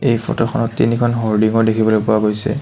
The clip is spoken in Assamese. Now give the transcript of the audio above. এই ফটো খনত তিনিখন হ'ৰ্ডিং ও দেখিবলৈ পোৱা গৈছে।